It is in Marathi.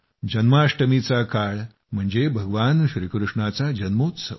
जन्माष्टमीचा काळ म्हणजे भगवान श्रीकृष्णाचा जन्मोत्सव